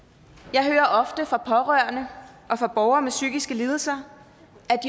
jeg hører ofte fra pårørende og fra borgere med psykiske lidelser